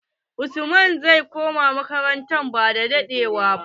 Usman zai koma makaranata ba da ewa ba.